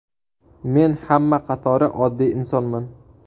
Men hamma qatori oddiy insonman.